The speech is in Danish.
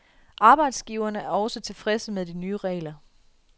Arbejdsgiverne er også tilfredse med de nye regler.